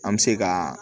An bɛ se ka